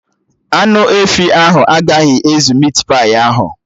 Anụ efi ahụ agaghị ezu mit pai ahụ